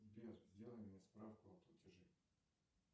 сбер сделай мне справку о платеже